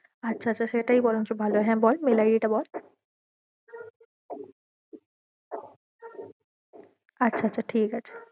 আচ্ছা আচ্ছা সেটাই বরঞ্চ ভালো হয়ে, হ্যাঁ বল mail id টা বল আচ্ছা আচ্ছা ঠিকাছে।